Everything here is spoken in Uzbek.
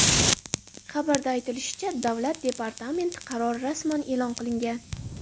Xabarda aytilishicha, Davlat departamenti qarori rasman e’lon qilinmagan.